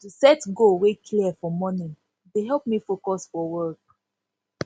to set goal wey clear for morning dey help me focus for work